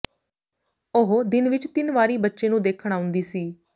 ਉਹ ਦਿਨ ਵਿਚ ਤਿੰਨ ਵਾਰੀ ਬੱਚੇ ਨੂੰ ਦੇਖਣ ਆਉਂਦੀ ਸੀ